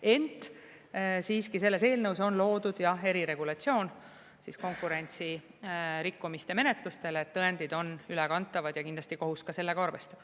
Ent siiski selles eelnõus on loodud jah eriregulatsioon konkurentsirikkumiste menetlustele, et tõendid on ülekantavad, ja kindlasti kohus sellega arvestab.